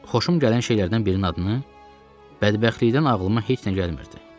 Xoşum gələn şeylərdən birinin adını bədbəxtlikdən ağlıma heç nə gəlmirdi.